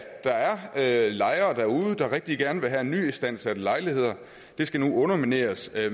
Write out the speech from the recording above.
der er lejere derude der rigtig gerne vil have nyistandsatte lejligheder skal nu undermineres af